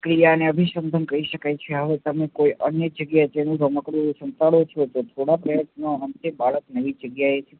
પ્રક્રિયા ને અભીસંગમ કહી શકાય છે હવે તમે કોઈ અન્ય જગ્યા એ તેનું રમકડું સંતાડો છો તો થોડા પ્રયત્નો અંતે બાળક નવી જગ્યાએ